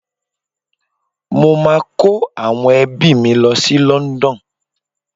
Mo máa kó àwọn ẹbí mi lọ sí London.